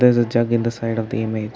jug in the side of the image.